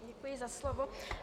Děkuji za slovo.